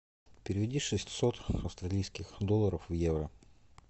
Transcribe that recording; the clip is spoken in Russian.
переведи шестьсот австралийских долларов в евро